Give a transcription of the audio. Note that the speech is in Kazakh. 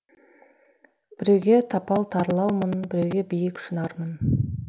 біреуге тапал тарлаумын біреуге биік шынармын